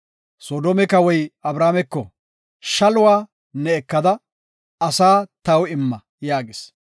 Soodome kawoy Abrameko, “Shaluwa ne ekada, asaa taw imma” yaagis.